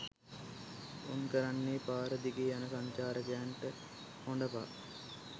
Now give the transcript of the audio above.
උන් කරන්නේ පාර දිගේ යන සංචාරකයන්ට හොඬ පා